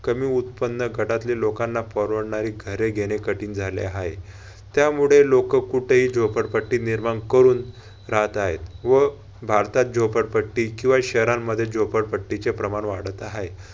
कमी उत्पन्न गटातल्या लोंकांना परवडणारी घरे घेणे कठीण झाले हाय. त्यामुळे लोक कुठेही झोपडपट्टी निर्माण करून राहत हाय व भारतात झोपडपट्टी किंवा शहरांमध्ये झोपडपट्टीचे प्रमाण वाढत हाय.